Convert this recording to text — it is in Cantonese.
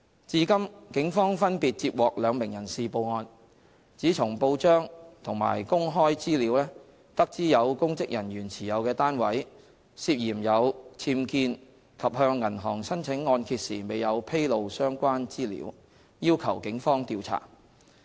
至今，警方分別接獲兩名人士報案，指從報章和公開資料得知有公職人員持有的單位，涉嫌有僭建及向銀行申請按揭時未有披露相關資料，要求警方調查。